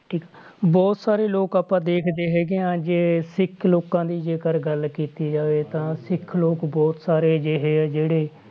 ਠੀਕ ਬਹੁਤ ਸਾਰੇ ਲੋਕ ਆਪਾਂ ਦੇਖਦੇ ਹੈਗੇ ਹਾਂ ਜੇ ਸਿੱਖ ਲੋਕਾਂ ਦੀ ਜੇਕਰ ਗੱਲ ਕੀਤੀ ਜਾਵੇ ਤਾਂ ਸਿੱਖ ਲੋਕ ਬਹੁਤ ਸਾਰੇ ਅਜਿਹੇ ਆ ਜਿਹੜੇ